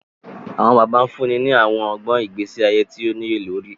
Awọn bàbá fúnni ni awọn ọgbọn ìgbésí ayé tíì o niyelori